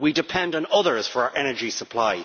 We depend on others for our energy supply.